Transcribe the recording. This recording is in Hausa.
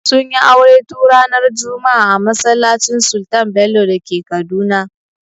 Sunyi aure tun ranar juma'a a masallacin sultan bello dake Kaduna